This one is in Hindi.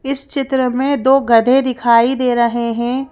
इस चित्र में दो गधे दिखाई दे रहे हैं।